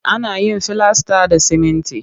Ana yin filasta da siminti